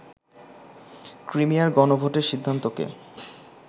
ক্রিমিয়ার গণভোটের সিদ্ধান্তকে